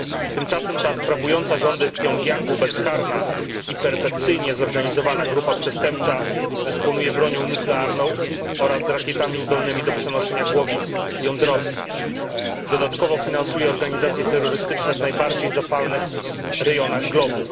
Tymczasem ta sprawująca rządy w Pjongjangu bezkarna i perfekcyjnie zorganizowana grupa przestępcza dysponuje bronią nuklearną oraz rakietami zdolnymi do przenoszenia głowic jądrowych. Dodatkowo finansuje organizacje terrorystyczne w najbardziej zapalnych rejonach globu.